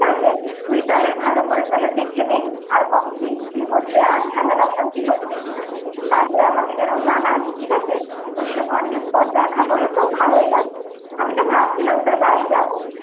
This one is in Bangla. ঠিক আছে তুই তাহলে ভালো করে তাহলে দেখে নে, আর কতদিন কি হচ্ছে এর ঝামেলা অসান্তি হচ্ছে কিনা? তারপর আমাকে যেন জানাস ঠিক আছে? তোর সাথে অনেকদিন পর দেখা হলো ভালোই লাগলো, আমি তো ভাবছিলাম একদিন তোর বাড়ি যাবো